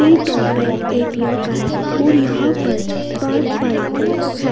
Bank ATM का है और यहाँ पर पाँच बाइकें हैं।